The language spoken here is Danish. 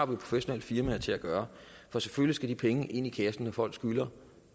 professionelle firmaer til at gøre for selvfølgelig skal de penge ind i kassen når folk skylder